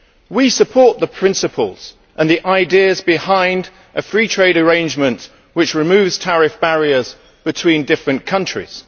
We support the principles and ideas behind a free trade arrangement which removes tariff barriers between countries.